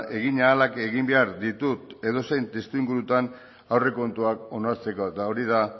egin ahalak egin behar ditut edozein testuingurutan aurrekontuak onartzeko eta hori da